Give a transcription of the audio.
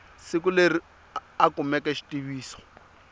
siku leri a kumeke xitiviso